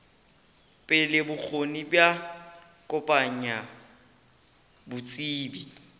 pele bokgoni bja kopanya botsebi